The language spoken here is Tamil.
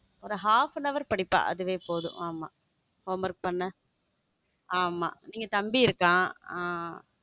ஒரு half and hour படிப்பா அதுவே போதும் ஆமா home work பண்ண ஆமா நீங்க தம்பி இருக்கான்.